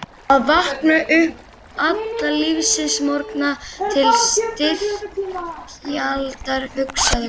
Að vakna upp alla lífsins morgna til styrjaldar, hugsaði konungur.